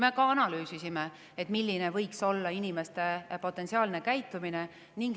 Me analüüsisime ka seda, milline võib olla inimeste potentsiaalne käitumine.